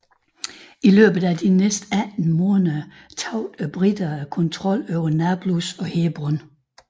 I løbet af de næste 18 måneder mistede briterne kontrollen over Nablus og Hebron